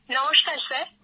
নমস্কার স্যার